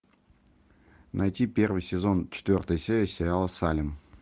найти первый сезон четвертая серия сериала салем